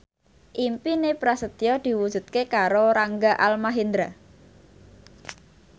impine Prasetyo diwujudke karo Rangga Almahendra